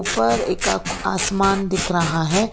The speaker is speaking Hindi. ऊपर एक आक आसमान दिख रहा है।